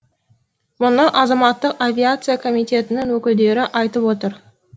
мұны азаматтық авиация комитетінің өкілдері айтып отыр